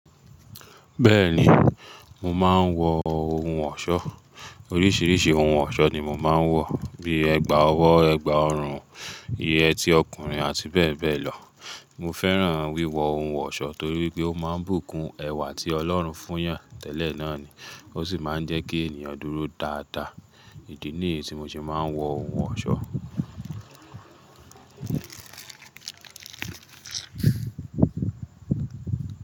Bẹ́ẹ̀ni, mo máa ń wọ ohun ọ̀ṣọ́, oríṣiríṣi ohun ọ̀ṣọ́ ni mo máa ń wọ, bí ẹgba ọwọ́, ẹgba ọrùn, yẹtí ọkùnrin àti bẹ́ẹ̀ bẹ́ẹ̀ lọ. Mo fẹ́ràn wíwọ ohun ọ̀ṣọ́ torí pé ó máa ń bùkún ẹwà tí Ọlọ́run fún yàn tẹ́lẹ̀ náà ni. Ó sì máa ń jẹ́ kí ènìyàn dúró dáadáa. Ìdí nìyí tí mo ṣe máa ń wọ ohun ọ̀ṣọ́.